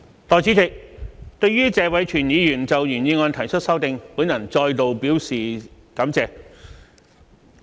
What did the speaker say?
代理主席，對於謝偉銓議員就原議案提出的修正，我再次表示感謝。